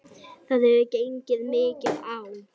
Það hefur gengið mikið á!